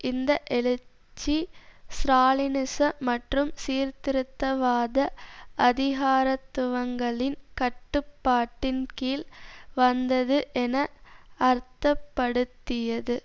இந்த எழுச்சி ஸ்ராலினிச மற்றும் சீர்திருத்தவாத அதிகாரத்துவங்களின் கட்டுப்பாட்டின் கீழ் வந்தது என அர்த்தப்படுத்தியது